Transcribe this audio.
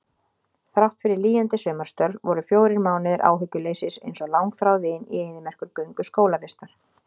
Þráttfyrir lýjandi sumarstörf voru fjórir mánuðir áhyggjuleysis einsog langþráð vin í eyðimerkurgöngu skólavistar.